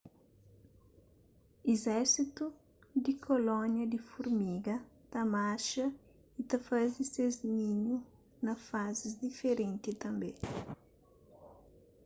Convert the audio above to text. izérsitu di kolónia di furmiga ta marxa y ta faze ses ninhu na fázis diferenti tanbê